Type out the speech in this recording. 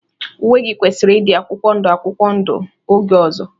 Uwe gị kwesịrị ịdị akwụkwọ ndụ akwụkwọ ndụ oge ọzọ!